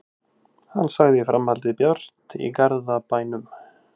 Hann sagði framhaldið bjart í Garðabænum